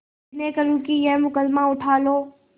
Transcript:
विनय करुँ कि यह मुकदमा उठा लो